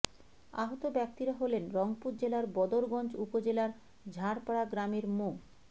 আহত ব্যক্তিরা হলেন রংপুর জেলার বদরগঞ্জ উপজেলার ঝাড়পাড়া গ্রামের মো